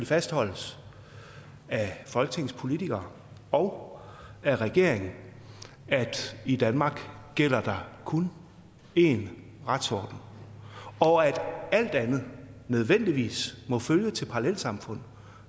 fastholdes af folketingets politikere og af regeringen at i danmark gælder der kun én retsorden og at alt andet nødvendigvis må føre til parallelsamfund